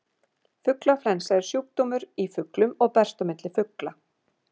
Fuglaflensa er sjúkdómur í fuglum og berst á milli fugla.